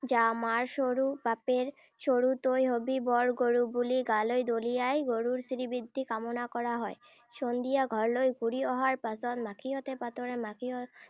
যা, মাৰ সৰু বাপেৰ সৰু তই হবি বৰ গৰু বুলি গালৈ দলিয়াই গৰুৰ শ্ৰীবৃদ্ধি কামনা কৰা হয়। সন্ধিয়া ঘৰলৈ ঘূৰি অহাৰ পাছত মাখিয়তী পাতৰে মাখিয়তী